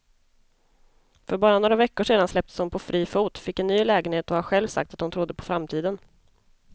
För bara några veckor sedan släpptes hon på fri fot, fick en ny lägenhet och har själv sagt att hon trodde på framtiden.